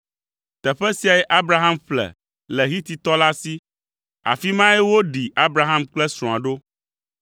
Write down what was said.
Teƒe siae Abraham ƒle le Hititɔ la si; afi mae woɖi Abraham kple srɔ̃a ɖo.